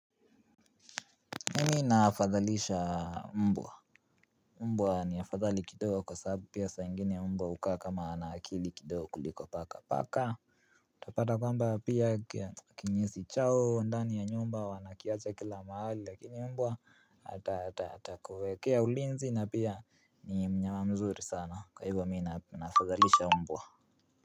Mimi nafadhalisha mbwa. Mbwa ni afadhali kidogo kwa sababu pia saa ingine mbwa hukaa kama ana akili kidogo kuliko paka. Paka utapata kwamba pia kinyesi chao ndani ya nyumba wanakiacha kila mahali lakini mbwa atakuwekea ulinzi na pia ni mnyama mzuri sana. Kwa hivyo mi nafadhalisha mbwa.